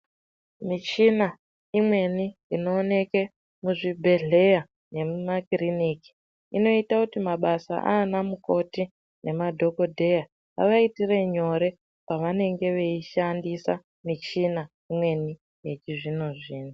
Michina imweni inowoneke muzvibhedhleya nemumakiriniki. Inoita kuti mabasa anamukoti nemadhokodheya avaitire nyore pavanenge veyishandisa michina imweni yechizvino zvino.